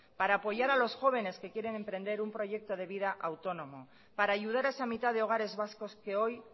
para apoyar a los jóvenes que quieren emprender un proyecto de vida autónomo para ayudar a esa mitad de hogares vascos que hoy